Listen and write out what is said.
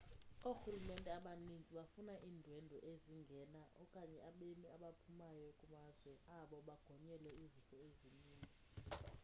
oorhulumente abaninzi bafuna iindwendwe ezingena okanye abemi abaphumayo kumazwe abo bagonyelwe izifo ezininzi